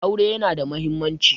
Aure yana da mahimmanci.